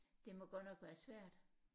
Det må godt nok være svært